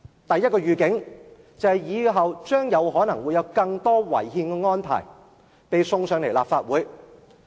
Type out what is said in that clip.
第一個預警，就是以後可能有更多違憲的安排被呈上立法會。